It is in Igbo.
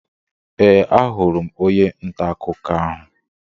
Ee, ahụrụ m onye ntà akụkọ ahụ.